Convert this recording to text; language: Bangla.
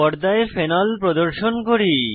পর্দায় ফেনল ফেনল প্রদর্শন করি